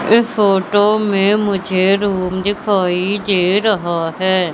ये फोटो में मुझे रूम दिखाई दे रहा है।